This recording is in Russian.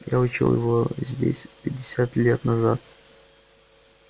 я учил его здесь пятьдесят лет назад